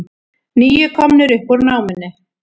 Níu komnir upp úr námunni